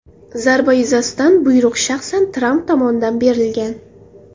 Zarba yuzasidan buyruq shaxsan Tramp tomonidan berilgan .